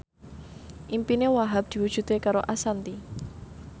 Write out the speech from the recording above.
impine Wahhab diwujudke karo Ashanti